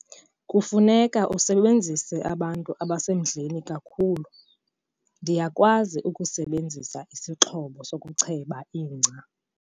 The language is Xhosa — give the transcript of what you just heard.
Kufuneka usebenzise abantu abasemandleni kakhulu. ndiyakwazi ukusebenzisa isixhobo sokucheba ingca